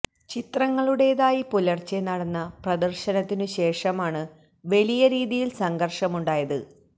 ചിത്രങ്ങളുടെതായി പുലര്ച്ചെ നടന്ന പ്രദര്ശനത്തിനു ശേഷമാണ് വലിയ രീതിയില് സംഘര്ഷവുമുണ്ടായത്